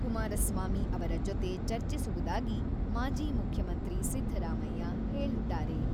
ಕುಮಾರಸ್ವಾಮಿ ಅವರ ಜೊತೆ ಚರ್ಚಿಸುವುದಾಗಿ ಮಾಜಿ ಮುಖ್ಯಮಂತ್ರಿ ಸಿದ್ದರಾಮಯ್ಯ ಹೇಳಿದ್ದಾರೆ.